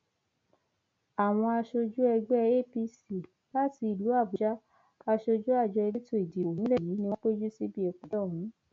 àwọn aṣojú ẹgbẹ apc láti ìlú àbújá aṣojú àjọ elétò ìdìbò nílẹ yìí ni wọn péjú síbi ìpàdé ọhún